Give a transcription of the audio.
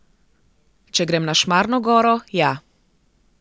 Če grem na Šmarno goro, ja.